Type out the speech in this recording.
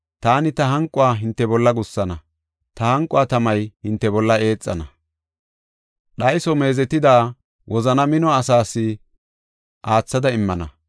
Taani ta hanquwa hinte bolla gussana; ta hanqo tamay hinte bolla eexana; dhayso meezetida, wozana mino asaas aathada immana.